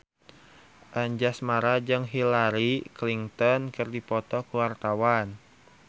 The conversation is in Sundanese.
Anjasmara jeung Hillary Clinton keur dipoto ku wartawan